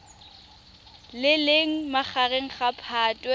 le leng magareng ga phatwe